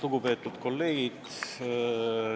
Lugupeetud kolleegid!